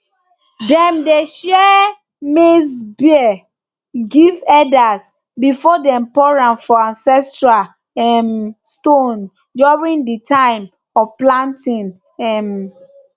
dem dey share share maize beer give elders before dem pour am for ancestral um stones during di time of planting um